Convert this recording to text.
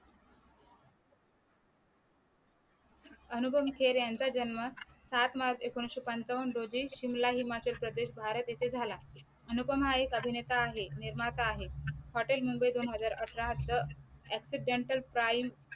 अनुपम खैर यांचा जन्म सात मार्च एकोणविशे पंचावन्न रोजी शिमला हिमाचल प्रदेश भारत ये थे झाला अनुपम हा एक अभिनेता आहे निर्माता आहे Hotel दोन हजार अठरा त accidental crime